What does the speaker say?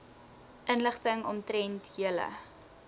inligting omtrent julle